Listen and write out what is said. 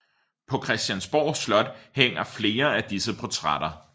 På Christiansborg Slot hænger flere af disse portrætter